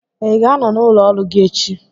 Ị ga-anọ n'ụlọ ọrụ gị echi?